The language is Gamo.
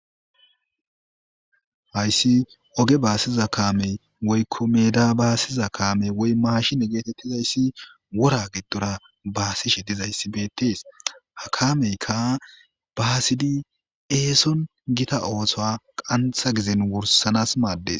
Hayssi oge baasiza kaamey woykko meda baasiza kaamey woy maashine geetettizayssi wora giddora baasishe dizayssibeettees, ha kameykka baasidi eeson gita ooso qantha gizen wursanas maaddes.